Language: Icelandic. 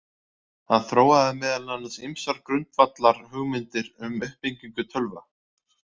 Hann þróaði meðal annars ýmsar grundvallarhugmyndir um uppbyggingu tölva.